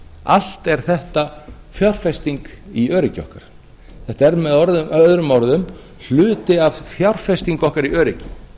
allt er þetta fjárfesting í öryggi okkar þetta er möo hluti af fjárfestingum okkar í öryggi